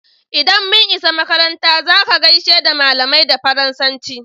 Idan mun isa makaranta" za ka gaishe da malamai da Faransanci!"